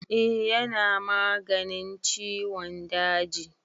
Eh ya na maganin ciwon daji.